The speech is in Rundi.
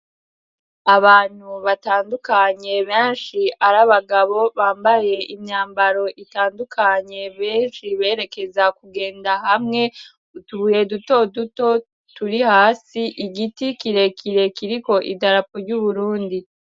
abantu batandukanye benshi ari abagabo bambaye imyambaro itandukanye benshi berekeza kugenda hamwe utubuhe duto duto turi hasi igiti kirekire kiriko idarapu ry'uburundi